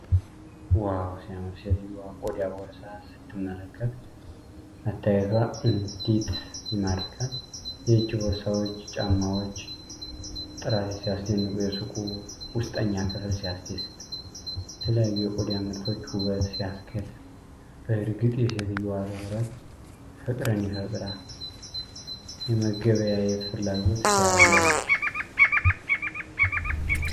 ዋው ሲያምር! ሴትዮዋ ቆዳ ቦርሳ ስትመለከት መታየቷ እንዴት ይማርካል! የእጅ ቦርሳዎችና ጫማዎች ጥራት ሲያስደንቅ! የሱቁ ውስጠኛ ክፍል ሲያስደስት! የተለያዩ የቆዳ ምርቶች ውበት ሲያስገርም! በእርግጥ የሴትዮዋ ትኩረት ፍቅርን ይፈጥራል! የመገበያየት ፍላጎት ሲያጓጓ!